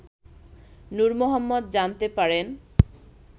নূর মোহাম্মদ জানতে পারেন